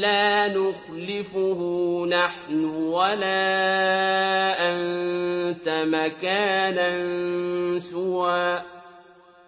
لَّا نُخْلِفُهُ نَحْنُ وَلَا أَنتَ مَكَانًا سُوًى